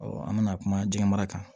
an bɛna kuma jɛgɛ mara kan